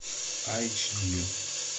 айч ди